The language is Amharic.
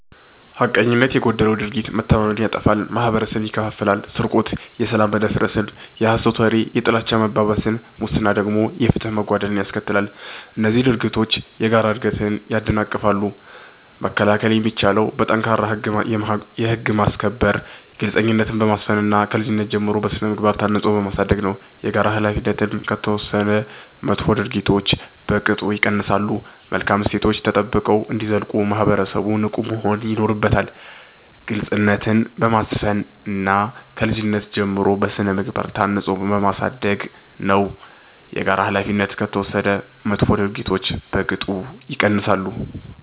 ሐቀኝነት የጎደለው ድርጊት መተማመንን ያጠፋል፤ ማህበረሰብን ይከፋፍላል። ስርቆት የሰላም መደፍረስን፣ የሐሰት ወሬ የጥላቻ መባባስን፣ ሙስና ደግሞ የፍትህ መጓደልን ያስከትላሉ። እነዚህ ድርጊቶች የጋራ እድገትን ያደናቅፋሉ። መከላከል የሚቻለው በጠንካራ የህግ ማስከበር፣ ግልጽነትን በማስፈን እና ከልጅነት ጀምሮ በሥነ-ምግባር ታንጾ በማሳደግ ነው። የጋራ ኃላፊነት ከተወሰደ መጥፎ ድርጊቶች በቅጡ ይቀንሳሉ። መልካም እሴቶች ተጠብቀው እንዲዘልቁ ማህበረሰቡ ንቁ መሆን ይኖርበታል። ግልጽነትን በማስፈን እና ከልጅነት ጀምሮ በሥነ-ምግባር ታንጾ በማሳደግ ነው። የጋራ ኃላፊነት ከተወሰደ መጥፎ ድርጊቶች በቅጡ ይቀንሳሉ።